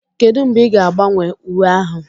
Kedu mgbe ị ga-agbanwe uwe ahụ?